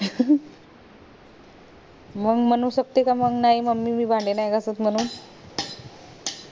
मंग म्हणू शकते का मंग नाय mummy मी भांडे नाय घासत म्हणून